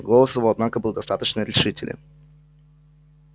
голос его однако был достаточно решителен